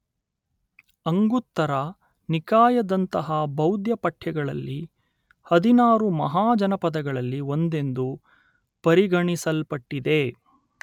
ಅಂಗುತ್ತರ ನಿಕಾಯದಂತಹ ಬೌದ್ಧ ಪಠ್ಯಗಳಲ್ಲಿ ಹದಿನಾರು ಮಹಾಜನಪದಗಳಲ್ಲಿ ಒಂದೆಂದು ಪರಿಗಣಿಸಲ್ಪಟ್ಟಿದೆ